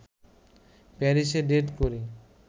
প্যারিসে ডেট করি